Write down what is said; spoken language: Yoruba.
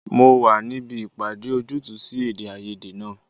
Mo wà níbí ìpàdé ojútùú sí èdèàìyedè náà